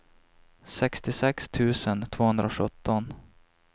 sextiosex tusen tvåhundrasjutton